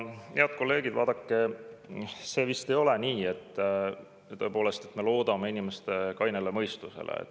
Head kolleegid, vaadake, see vist ei ole nii, et me tõepoolest loodame inimeste kainele mõistusele.